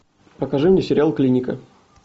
покажи мне сериал клиника